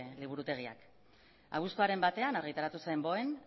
liburutegiak abuztuaren batean argitaratu zen boen